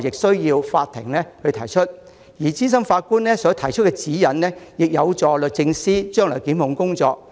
所以，我認為資深法官作出的指引相當重要，有助律政司日後進行檢控工作。